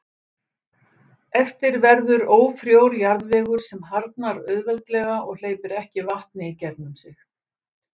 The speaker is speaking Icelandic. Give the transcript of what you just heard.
Eftir verður ófrjór jarðvegur sem harðnar auðveldlega og hleypir ekki vatni í gegnum sig.